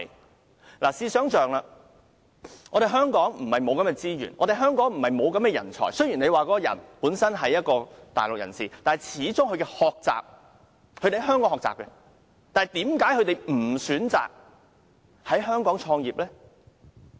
大家試想象，香港並非缺乏資源和人才，雖然他是大陸人士，但他始終也是在香港學習，為何他不選擇在香港創業？